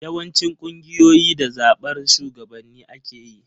Yawancin ƙungiyoyi da zaɓar shugabanni ake yi.